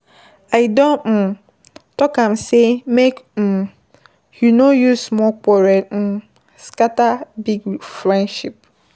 I don um talk am sey make um you no use small quarrel um scatter big friendship.